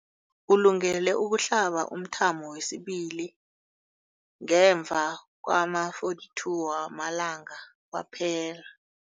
Ulungele ukuhlaba umthamo wesibili ngemva kwama-42 wamalanga kwaphela.